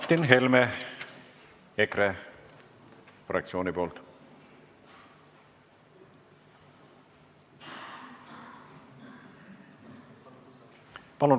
Martin Helme EKRE fraktsiooni nimel.